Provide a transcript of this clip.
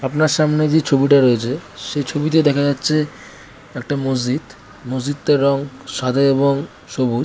আপনার সামনে যে ছবিটা রয়েছে সে ছবিতে দেখা যাচ্ছে একটা মসজিদ। মসজিদটার রং সাদা এবং সবু--